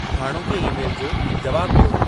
हाणोके ई-मेल जो जवाबु ॾियो